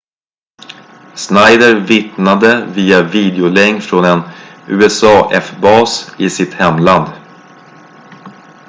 schneider vittnade via videolänk från en usaf-bas i sitt hemland